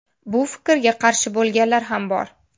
Bu fikrga qarshi bo‘lganlar ham bor.